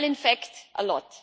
Well, in fact, a lot.